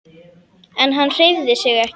En hann hreyfði sig ekki.